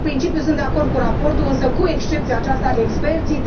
În principiu sunt de acord cu raportul, însă cu excepția aceasta experții.